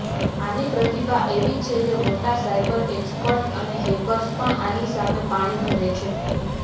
આની પ્રતિભા એવી છે મોટા સાઈબર એક્સપર્ટ અને હેકર્સ પણ આની સામે પાણી ભરે છે